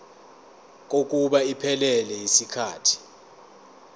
kokuba iphelele yisikhathi